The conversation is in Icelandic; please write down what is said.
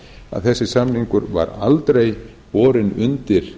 að þessi samningur var aldrei borinn undir